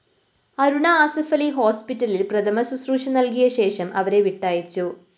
അരുണ അസഫലി ഹോസ്പിറ്റലില്‍ പ്രഥമ ശുശ്രൂഷ നല്‍കിയശേഷം അവരെ വിട്ടയച്ചു